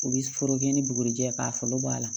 U bɛ foro kɛ ni bugurijɛ ye k'a foro bɔ a la